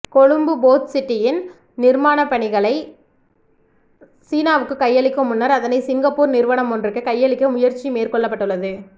கொழும்பு போட்சிட்டியின் நிர்மாண பணிகளை சீனாவுக்கு கையளிக்கும் முன்னர் அதனை சிங்கப்பூர் நிறுவனம் ஒன்றுக்கு கையளிக்க முயற்சி மேற்கொள்ளப்பட்டுள்ளது